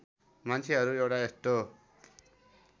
मान्छेहरू एउटा यस्तो